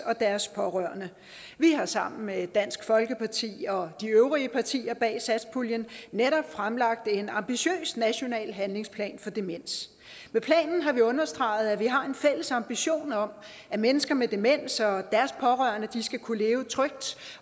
og deres pårørende vi har sammen med dansk folkeparti og de øvrige partier bag satspuljen netop fremlagt en ambitiøs national handlingsplan for demens med planen har vi understreget at vi har en fælles ambition om at mennesker med demens og deres pårørende skal kunne leve trygt